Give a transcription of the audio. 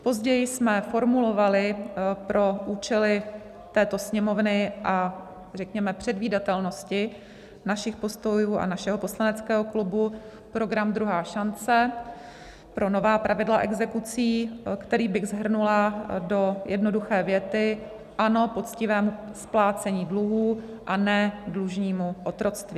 Později jsme formulovali pro účely této Sněmovny a řekněme předvídatelnosti našich postojů a našeho poslaneckého klubu program Druhá šance pro nová pravidla exekucí, který bych shrnula do jednoduché věty - ano poctivému splácení dluhů a ne dlužnímu otroctví.